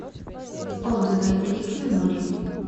отзывы ликви моли